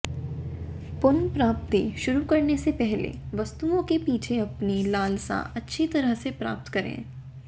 पुनर्प्राप्ति शुरू करने से पहले वस्तुओं के पीछे अपनी लालसा अच्छी तरह से प्राप्त करें